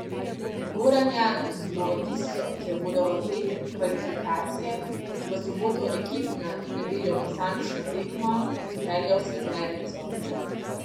Goran Janus bo v Vislo, kjer bodo v petek kvalifikacije, v soboto ekipna in nedeljo posamična tekma odpeljal sedmerico.